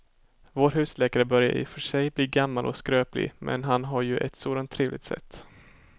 Vår husläkare börjar i och för sig bli gammal och skröplig, men han har ju ett sådant trevligt sätt!